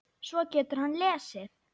Svo getur hann lesið.